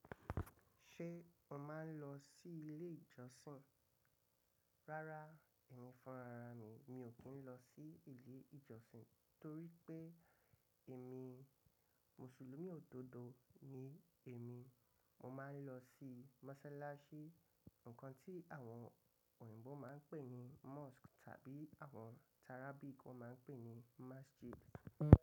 Ṣé o máa ń lọ sí ilé ìjọsìn? Rárá, èmi funrara mi. Mi ò kí ń lọ sí ilé ìjọsìn torí pé èmi Mùsùlùmí òdodo ni èmi. Mo máa ń lọ sí mọ́sálásí, nǹkan tí àwọn òyìnbó máa ń pè ní mosque tàbí àwọn Arabic máa ń pè ní Masjid.